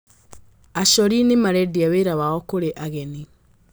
Acori nĩ marendia wĩra wao kũrĩ ageni.